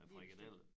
Æ frikadeller